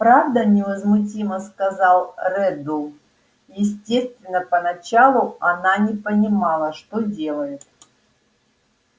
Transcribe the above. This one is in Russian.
правда невозмутимо сказал реддл естественно поначалу она не понимала что делает